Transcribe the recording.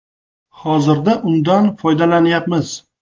Hozirda undan foydalanyapmiz.